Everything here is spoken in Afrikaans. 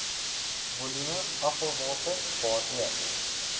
volume afvalwater waaroor